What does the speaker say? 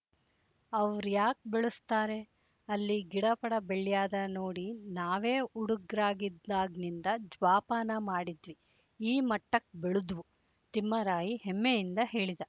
ಅವ್ರ್ ಯಾಕ್ ಬೆಳುಸ್ತಾರೆ ಅಲ್ಲಿ ಗಿಡಪಡ ಬೆಳ್ಯಾದ ನೋಡಿ ನಾವೇ ಉಡುಗ್ರಾಗಿದ್ದಾಗ್ನಿಂದ ಜ್ವಾಪಾನ ಮಾಡಿದ್ವಿ ಈ ಮಟ್ಟಕ್ ಬೆಳುದ್ವು ತಿಮ್ಮರಾಯಿ ಹೆಮ್ಮೆಯಿಂದ ಹೇಳಿದ